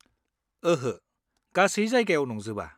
-ओहो, गासै जायगायाव नंजोबा।